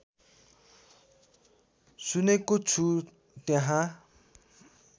सुनेको छु त्यहाँ